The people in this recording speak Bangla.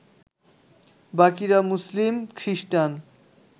বাকিরা মুসলিম, খ্রিস্টান